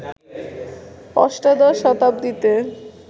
অষ্টাদশ শতাব্দীতে